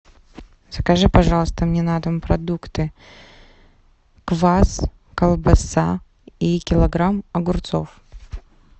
закажи пожалуйста мне на дом продукты квас колбаса и килограмм огурцов